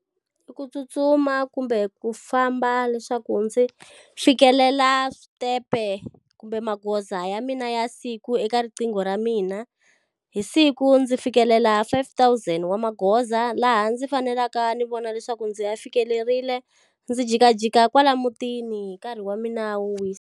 I ku tsutsuma kumbe ku famba leswaku ndzi fikelela switepe kumbe magoza ya mina ya siku eka riqingho ra mina. Hi siku ndzi fikelela five thousand wa magoza laha ndzi faneleka ndzi vona leswaku ndzi ya fikelerile, ndzi jikajika kwala mutini hi nkarhi wa mina wo wisa.